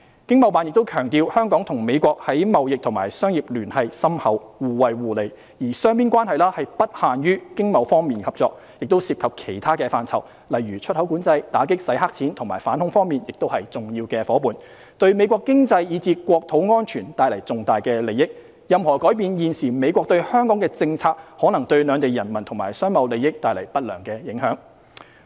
經貿辦亦強調香港與美國在貿易及商業聯繫深厚，互惠互利，而雙邊關係不限於經貿方面合作，亦涉及其他範疇，例如在出口管制、打擊洗黑錢及反恐方面亦是重要夥伴，對美國經濟以至國土安全帶來重大利益，現時美國對香港的政策的任何改變可能對兩地人民和商貿利益帶來不良影響。